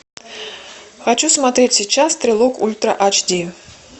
хочу смотреть сейчас трилог ультра айч ди